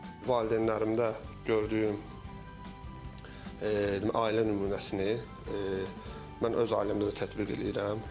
Valideynlərimdə gördüyüm ailə nümunəsini mən öz ailəmdə də tətbiq eləyirəm.